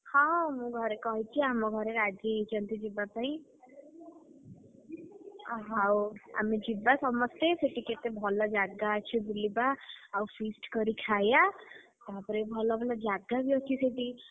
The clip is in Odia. ହଁ ମୁଁ ଘରେ କହିଛି ଆମ ଘରେ ରାଜିହେଇଛନ୍ତି ଯିବା ପାଇଁ, ଆଉ ହଉ ଆମେ ଯିବା। ସମସ୍ତେ ସେଠି କେତେ ଭଲ ଜାଗା ଅଛି ବୁଲିବା ଆଉ feast କରି ଖାୟା, ତାପରେ ଭଲ ଭଲ ଜାଗା ବି ସେଠି